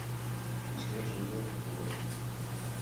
снежные гонки врубай